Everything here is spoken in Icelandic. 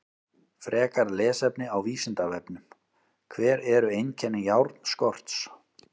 Frekara lesefni á Vísindavefnum: Hver eru einkenni járnskorts?